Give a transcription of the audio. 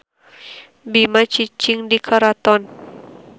Bima cicing di karaton.